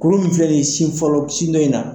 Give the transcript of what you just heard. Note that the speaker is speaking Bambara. Kulu min filɛ nin ye sin fɔlɔ sin dɔ in na